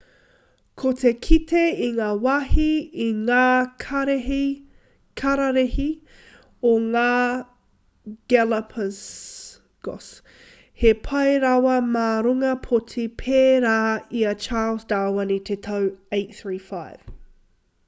ko te kite i ngā wāhi i ngā kararehe o ngā galapagos he pai rawa mā runga pōti pērā i a charles darwin i te tau 835